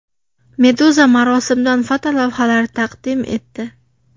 Meduza marosimdan fotolavhalar taqdim etdi .